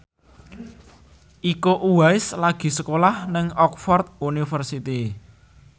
Iko Uwais lagi sekolah nang Oxford university